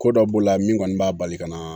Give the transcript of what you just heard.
Ko dɔ b'o la min kɔni b'a bali ka na